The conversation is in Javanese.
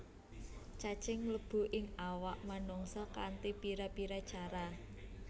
Cacing mlebu ing awak menungsa kanti pira pira cara